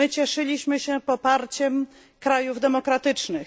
My cieszyliśmy się poparciem krajów demokratycznych.